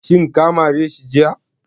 Shin ka mare shi jiya?